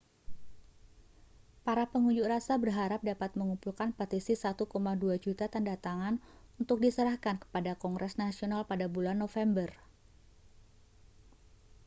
para pengunjuk rasa berharap dapat mengumpulkan petisi 1,2 juta tanda tangan untuk diserahkan kepada kongres nasional pada bulan november